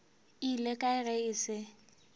ile kae ge e se